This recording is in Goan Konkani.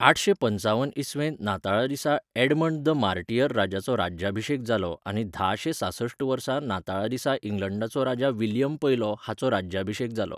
आठशे पंचावन इसवेंत नाताळा दिसा ऍडमंड द मार्टियर राजाचो राज्याभिशेक जालो आनी धाशे सांसठ वर्साच्या नाताळा दिसा इंग्लंडाचो राजा विल्यम पयलो हाचो राज्याभिशेक जालो.